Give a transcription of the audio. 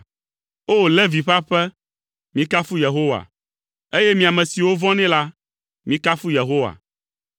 O! Levi ƒe aƒe, mikafu Yehowa, eye mi ame siwo vɔ̃nɛ la, mikafu Yehowa.